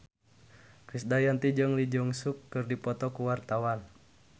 Krisdayanti jeung Lee Jeong Suk keur dipoto ku wartawan